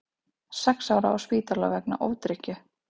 Sex ára á spítala vegna ofdrykkju